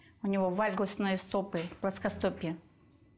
у него вальгосные стопы плоскостопье